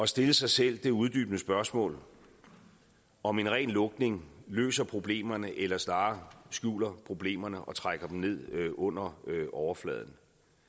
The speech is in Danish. stille sig selv det uddybende spørgsmål om en ren lukning løser problemerne eller snarere skjuler problemerne og trækker dem ned under overfladen